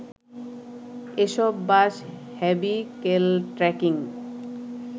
এসব bus vehicle tracking